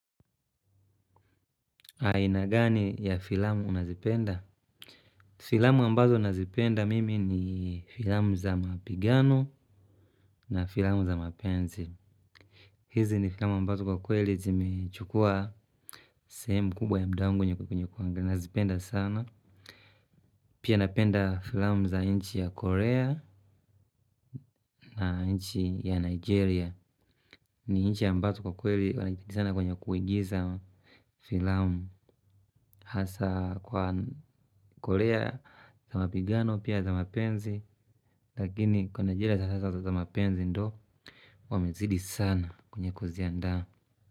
Aina gani ya filamu unazipenda. Filamu ambazo nazipenda mimi ni filamu za mapigano na filamu za mapenzi. Hizi ni filamu ambazo kwa kweli zimechukua sehemu kubwa ya muda wangu kwenye kuangalia. Nazipenda sana. Pia napenda filamu za nchi ya Korea na nchi ya Nigeria. Ni nchi ambazo kwa kweli wana kititi sana kwenye kuigiza filamu hasa kwa kolea za mapigano pia za mapenzi lakini kwa nigeria hasa za mapenzi ndo wamezidi sana kwenye kuziandaa.